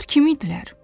Onlar kim idilər?